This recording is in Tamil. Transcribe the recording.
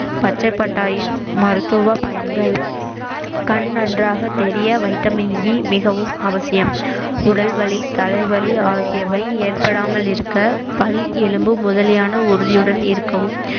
பச்சை பட்டாணியின் மருத்துவ பயன்கள் கண் நன்றாக தெரிய வைட்டமின் இ மிகவும் அவசியம் உடல் வலி தலை வலி ஆகியவை ஏற்படாமல் இருக்க பல் எலும்பு முதலியான உறுதியுடன் இருக்கவும்